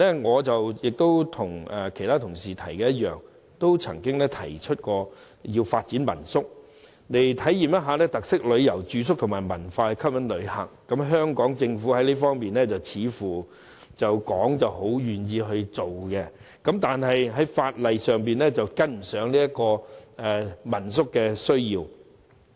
我和其他同事一樣，在數年前亦曾提議發展民宿，以體驗特色旅遊、住宿和文化吸引旅客，而香港政府表面上似乎十分樂意作進一步探討，但在法例方面卻跟不上民宿的要求。